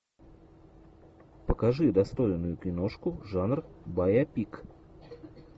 покажи достойную киношку жанр байопик